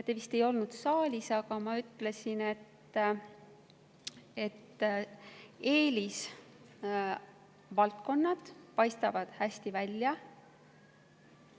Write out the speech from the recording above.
Te vist ei olnud saalis, kui ma ütlesin, et eelisvaldkonnad paistavad hästi välja.